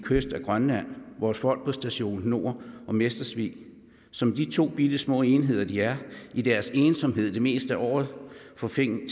kyst af grønland vores folk på station nord og mestersvig som de to bittesmå enheder de er i deres ensomhed det meste af året får tingene